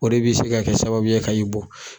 O de b'i se ka kɛ sababu ye ka i bɔ.